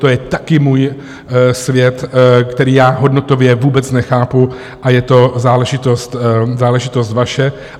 To je taky můj svět, který já hodnotově vůbec nechápu, a je to záležitost vaše.